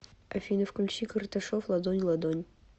афина включи карташов ладонь ладонь